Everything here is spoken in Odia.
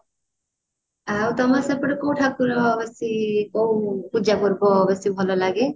ଆଉ ତମ ସେପଟେ କୋଉ ଠାକୁର ବେଶୀ କୋଉ ପୂଜା ପର୍ବ ବେଶୀ ଭଲ ଲାଗେ